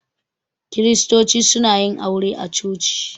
Kiristoci suna yin aure a coci.